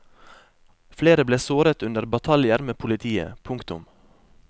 Flere ble såret under bataljer med politiet. punktum